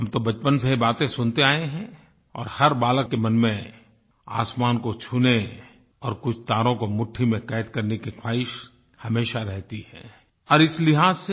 हम तो बचपन से ये बातें सुनते आये हैं और हर बालक के मन में आसमान को छूने और कुछ तारों को मुठ्ठी में कैद करने की ख्वाहिश हमेशा रहती है और इस लिहाज़ से